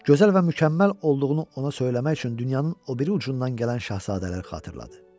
Gözəl və mükəmməl olduğunu ona söyləmək üçün dünyanın o biri ucundan gələn şahzadələri xatırladı.